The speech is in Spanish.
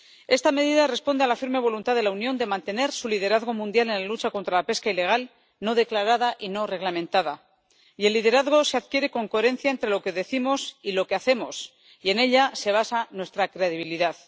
Esta medida responde a la firme voluntad de la Unión de mantener su liderazgo mundial en la lucha contra la pesca ilegal, no declarada y no reglamentada, y el liderazgo se adquiere con coherencia entre lo que decimos y lo que hacemos, y en ella se basa nuestra credibilidad.